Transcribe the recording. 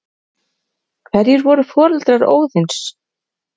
Hverjir voru foreldrar Óðins?